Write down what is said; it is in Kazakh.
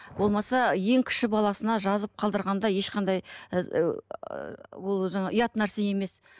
болмаса ең кіші баласына жазып қалдырғанда ешқандай ол жаңағы ұят нәрсе емес